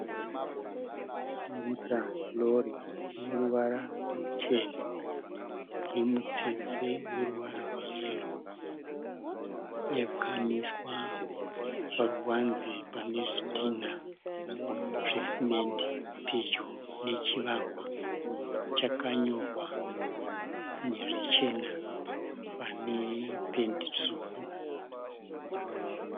Mota yerori ine ruvara ruchena nemutsetse weruvara rweyero. Yakamiswa paruwanze pane zvidhina zvesimende pedyo nechivakwa chakanyorwa nezvichena pane pendi tsvuku.